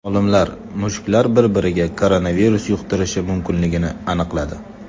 Olimlar mushuklar bir-biriga koronavirus yuqtirishi mumkinligini aniqladi.